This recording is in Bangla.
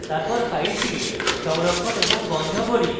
তারপর file সংরক্ষণ এবং বন্ধ করি